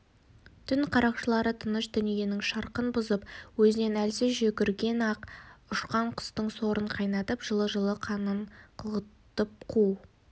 түн қарақшылары тыныш дүниенің шырқын бұзып өзінен әлсіз жүгірген аң ұшқан құстың сорын қайнатып жылы-жылы қанын қылғытып қу